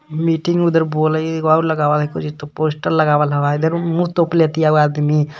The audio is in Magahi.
मीटिंग मे उधर बोले एगो आउर एकोरी त पोस्टर लगावल हवा इधर मुंह तोपले हतिया आदमी.